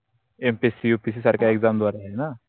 mpscupsc सारख्या exam द्वारा आहे ना